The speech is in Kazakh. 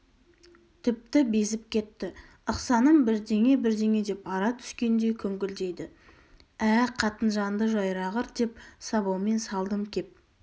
тіпті безіп кетті ықсаным бірдеңе-бірдеңе деп ара түскендей күңкілдейді ә қатынжанды жайрағыр деп сабаумен салдым кеп